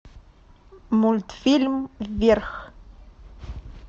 мультфильм вверх